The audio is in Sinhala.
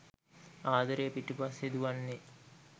ආදරය පිටුපස්සේ දුවන්නේ.